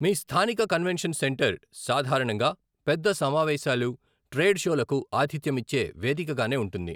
మీ స్థానిక convention centre సాధారణంగా పెద్ద సమావేశాలు, ట్రేడ్ షోలకు ఆతిథ్యమిచ్చే వేదికగానే ఉంటుంది.